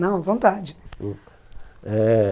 Não, à vontade. Hum, eh